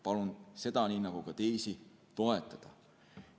Palun seda, nii nagu ka teisi, toetada!